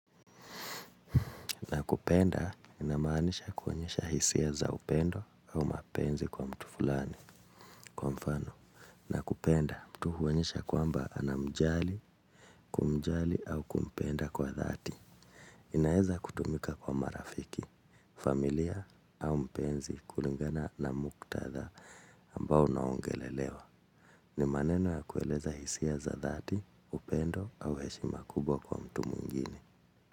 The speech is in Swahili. Nakupenda inamaanisha kuonyesha hisia za upendo au mapenzi kwa mtu fulani kwa mfano. Nakupenda mtu huonyesha kwamba anamjali, kumjali au kumpenda kwa dhati. Inaweza kutumika kwa marafiki, familia au mpenzi kulingana na muktadha ambao unaongelelewa. Ni maneno ya kueleza hisia za dhati, upendo au heshima kubwa kwa mtu mwingine.